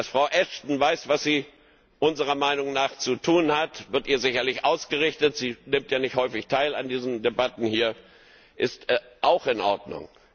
Dass Frau Ashton weiß, was sie unserer Meinung nach zu tun hat, wird ihr sicherlich ausgerichtet sie nimmt ja nicht häufig teil an diesen Debatten hier ist auch in Ordnung.